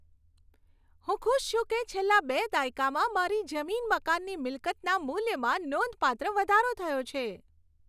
હું ખુશ છું કે છેલ્લા બે દાયકામાં મારી જમીન મકાનની મિલકતના મૂલ્યમાં નોંધપાત્ર વધારો થયો છે.